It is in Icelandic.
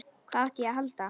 Hvað átti ég að halda?